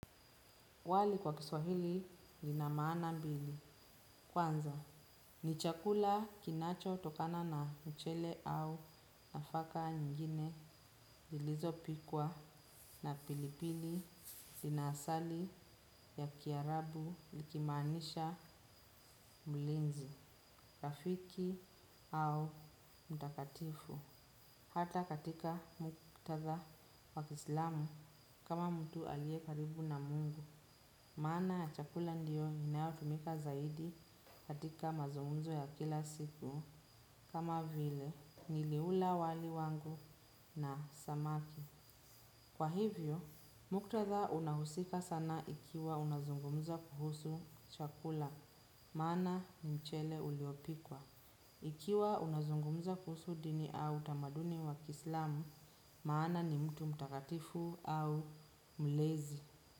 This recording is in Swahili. Wali kwa kiswahili lina maana mbili. Kwanza, ni chakula kinacho tokana na mchele au nafaka nyingine zilizo pikwa na pilipili dinasali ya kiarabu likimaanisha mlinzi, rafiki au mtakatifu. Hata katika muktatha wa kiislamu kama mtu aliye karibu na Mungu. Maana ya chakula ndiyo inayo tumika zaidi katika mazungumzo ya kila siku kama vile niliula wali wangu na samaki. Kwa hivyo, muktatha unahusika sana ikiwa unazungumza kuhusu chakula. Maana ni mchele uliopikwa. Ikiwa unazungumza kuhusu dini au utamaduni wa kislamu maana ni mtu mtakatifu au mlezi.